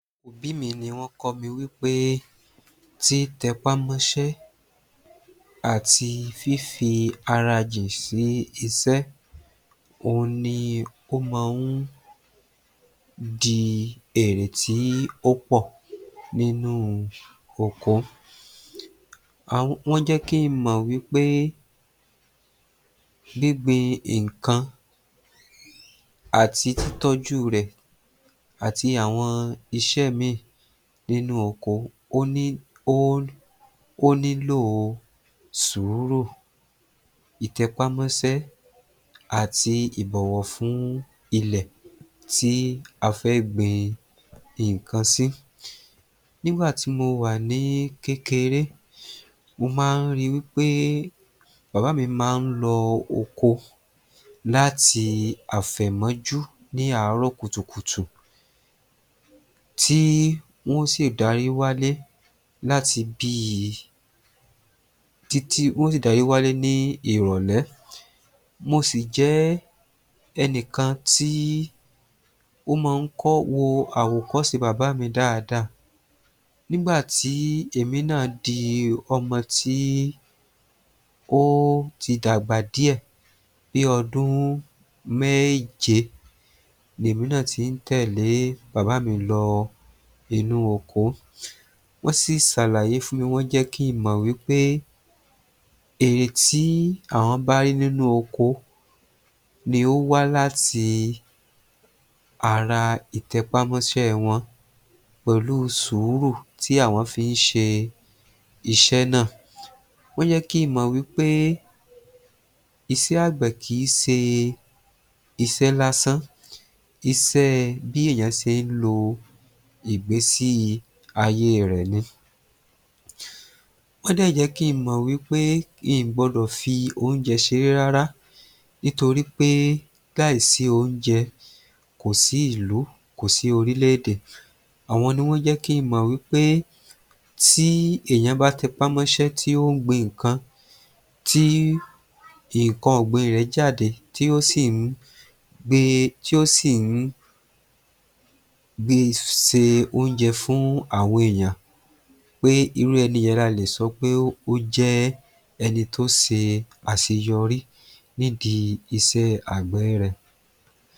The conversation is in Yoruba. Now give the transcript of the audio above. Òbí mi wọ́n kọ́ mi wípé títẹpá mọ́ṣẹ́ àti fífi ara jì sí iṣẹ́, òun ní ó máa ń di èrè tí ò pò nínú oko. Àwọn, wọ́n jẹ́ kí n mọ̀ wípé gbígbin nǹkan àti títọ́jú rẹ̀ àti àwọn iṣẹ́ mìíràn nínú oko, ó ní, ó nílò sùúrù, itẹpámọ́ṣẹ́ àti ìbọ̀wọ̀ fún ilẹ̀ tí a fẹ́ gbin nǹkan sí. Nígbà tí mo wá ní kékeré, mo máa ń rí wípe bàbá mi máa ń lọ oko láti àfẹ̀mójú, ní àárọ̀ kùtùkùtù, tí wọn ó sì darí wálé láti bí I, títí, wọn ó sì darí wálé ní ìrọ̀lẹ́. Mo sì jẹ́ ẹnìkan tí ó máa ń kọ́, wo àwòkọ́ṣe bàbá mi dáadáa. Nígbà tí èmi náà di ọmọ tí ó ti dàgbà díẹ̀, bí i ọdún méje, lèmi náà ti ń tèlẹ́ bàbá mi lọ inú oko, wọ́n sì ṣàlàyé fún mi, wọ́n jẹ́ kí n mọ̀ wípé èrè tí àwọn bá rí nínú oko ni ó wá láti ara ìtẹpá mọ́ṣẹ́ wọn, pẹ̀lú sùúrù tí àwọn fi ń ṣe iṣẹ́ náà, wọ́n jẹ́ kí n mọ̀ wípé iṣẹ́ àgbẹ̀ kì í ṣe iṣẹ́ lásán, iṣẹ́ bí èeỳan ṣe ń lo ìgbésí ayé rẹ̀ ni. Wọ́n dẹ̀ jẹ́ kí n mọ̀ wípé n ò gbọdọ̀ fi oúnjẹ ṣeré rárá, nítorí pé láì sí oúnjẹ kò sí ìlú, kò sí orílè-èdè. Àwọn ni wọ́n jẹ́ kí n mọ̀ wípé tí ènìyàn bá tẹpá mọ́ṣẹ́, tí ó ń gbin nǹkan, tí nǹkan ọ̀gbìn rẹ̀ jáde, tí ó sì ń gbé e, tí ó sì ń gbé, pèsè oúnjẹ fún àwọn ènìyàn, pé irú ẹni yẹn la lè sọ pé ó jẹ́ ẹni tó ṣe àṣeyọrí nídìí iṣẹ́ àgbẹ̀ rẹ̀